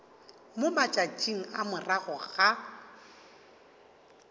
mo matšatšing a morago ga